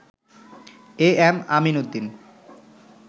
am Amin Uddin